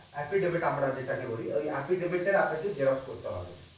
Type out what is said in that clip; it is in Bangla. epid OPID আমরা যেটাকে বলি ওই EPID OPID তাকে আপনাকে xerox করতে হবে।